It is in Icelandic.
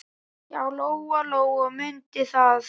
Já, Lóa-Lóa mundi það.